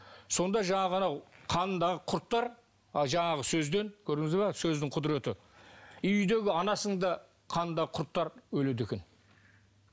сонда жаңағы анау қанындағы құрттар жаңағы сөзден көрдіңіз бе сөздің құдіреті үйдегі анасының да қанындағы құрттар өледі екен